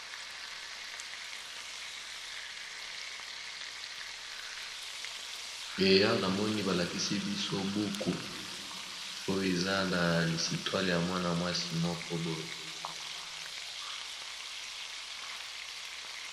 eya na moni balakisi biso buku oyo eza na lisitwale ya mwana-mwasi moko boye